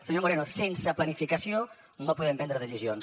senyor moreno sense planificació no podem prendre decisions